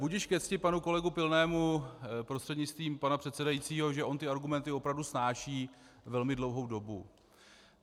Budiž ke cti panu kolegu Pilnému prostřednictvím pana předsedajícího, že on ty argumenty opravdu snáší velmi dlouhou dobu.